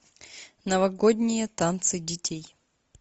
новогодние танцы детей